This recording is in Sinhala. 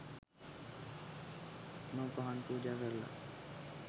මල් පහන් පූජා කරලා